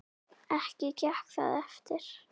Ekki gekk það eftir.